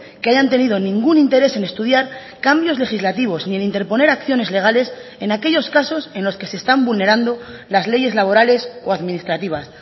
que hayan tenido ningún interés en estudiar cambios legislativos ni en interponer acciones legales en aquellos casos en los que se están vulnerando las leyes laborales o administrativas